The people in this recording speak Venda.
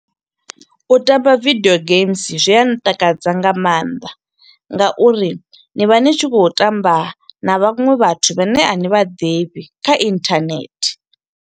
U tamba video games zwi a ntakadza nga maanḓa nga uri ni vha ni tshi kho u tamba na vhanwe vhathu vhane a ni vhaḓivhi kha internet.